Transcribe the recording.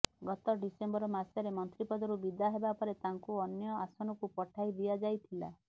ଗତ ଡିସେମ୍ବର ମାସରେ ମନ୍ତ୍ରିପଦରୁ ବିଦା ହେବା ପରେ ତାଙ୍କୁ ଅନ୍ୟ ଆସନକୁ ପଠାଇ ଦିଆଯାଇଥିଲା